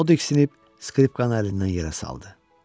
O diksinib skripkanı əlindən yerə saldı.